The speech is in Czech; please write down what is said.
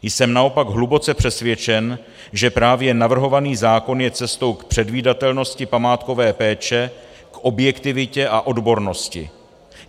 Jsem naopak hluboce přesvědčen, že právě navrhovaný zákon je cestou k předvídatelnosti památkové péče, k objektivitě a odbornosti.